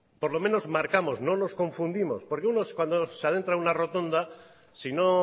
por lo menos marcamos no nos confundimos porque uno cuando se adentra en una rotonda si no